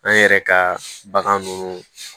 An yɛrɛ ka bagan ninnu